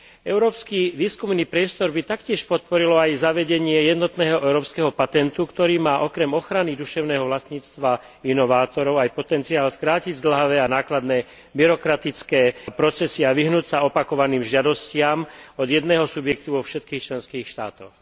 Európsky výskumný priestor by taktiež podporilo aj zavedenie jednotného európskeho patentu, ktorý má okrem ochrany duševného vlastníctva inovátorov aj potenciál skrátiť zdĺhavé a nákladné byrokratické procesy a vyhnúť sa opakovaným žiadostiam od jedného subjektu vo všetkých členských štátoch.